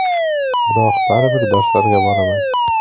Biroq baribir darslarga boraman.